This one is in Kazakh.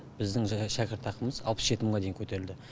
біздің жаңа шәкіртақымыз алпыс жеті мыңға дейін көтерілді